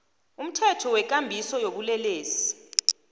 umthetho wekambiso yobulelesi